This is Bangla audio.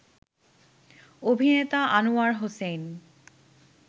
অভিনেতা আনোয়ার হোসেন